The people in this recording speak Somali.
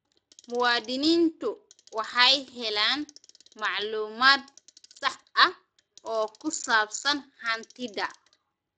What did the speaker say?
Muwaadiniintu waxay helaan macluumaad sax ah oo ku saabsan hantida.